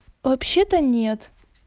вообще то нет